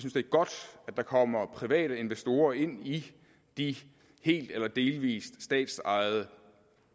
er godt at der kommer private investorer ind i de helt eller delvis statsejede